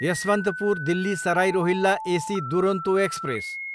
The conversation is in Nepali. Yesvantpur, Delhi Sarai Rohilla AC Duronto express